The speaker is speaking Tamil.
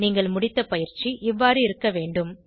நீங்கள் முடித்த பயிற்சி இவ்வாறு இருக்க வேண்டும்